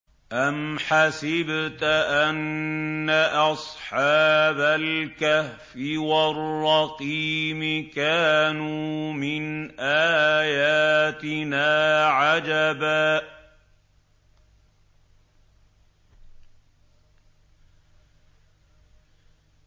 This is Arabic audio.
أَمْ حَسِبْتَ أَنَّ أَصْحَابَ الْكَهْفِ وَالرَّقِيمِ كَانُوا مِنْ آيَاتِنَا عَجَبًا